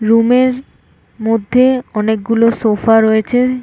রুমের এর মধ্যে অনেকগুলো সোফা রয়েছে--